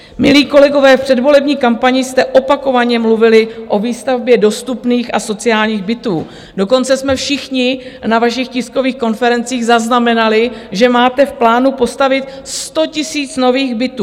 Milí kolegové, v předvolební kampani jste opakovaně mluvili o výstavbě dostupných a sociálních bytů, dokonce jsme všichni na vašich tiskových konferencích zaznamenali, že máte v plánu postavit 100 000 nových bytů.